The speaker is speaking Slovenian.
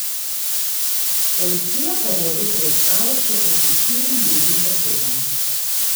Policija pa vodi preiskavo še proti štirim drugim osebam.